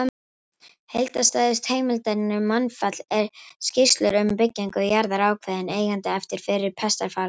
Heildstæðustu heimildirnar um mannfall eru skýrslur um byggingu jarða ákveðinna eigenda eftir fyrri pestarfaraldurinn.